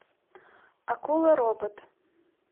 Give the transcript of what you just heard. акула робот